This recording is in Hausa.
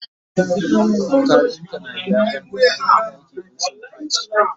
kafinta na gyaran kayan ɗaki in sun bace